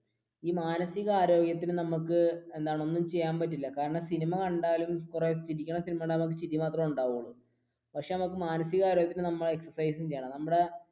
ഈ മാനസിക ആരോഗ്യത്തിനു നമുക്ക് എന്താണ് ഒന്നും ചെയ്യാൻ പറ്റില്ല കാരണം സിനിമ കണ്ടാലും എത്ര ചിരിക്കുന്ന സിനിമ കണ്ടാലും ചിരി മാത്രമേ ഉണ്ടാവുകയുള്ളു പക്ഷെ മാനസിക ആരോഗ്യത്തിന് നമ്മൾ exercise ചെയ്യണം.